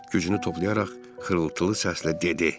Gücünü toplayaraq xırıltılı səslə dedi.